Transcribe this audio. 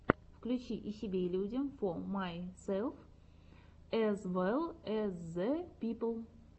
включи и себе и людям фо майсэлф эз вэлл эз зэ пипл